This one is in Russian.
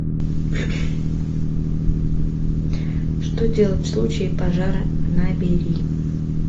что делать в случае пожара набери